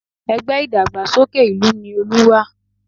Ẹgbẹ́ ìdàgbàsókè ìlú ni Olú wà